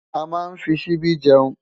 Amá nfí ṣìbi jèún